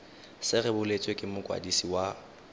se rebotswe ke mokwadisi wa